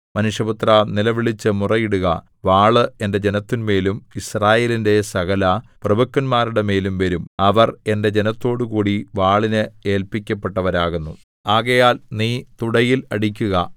മനുഷ്യപുത്രാ നിലവിളിച്ചു മുറയിടുക വാള് എന്റെ ജനത്തിന്മേലും യിസ്രായേലിന്റെ സകലപ്രഭുക്കന്മാരുടെ മേലും വരും അവർ എന്റെ ജനത്തോടുകൂടി വാളിന് ഏല്പിക്കപ്പെട്ടവരാകുന്നു ആകയാൽ നീ തുടയിൽ അടിക്കുക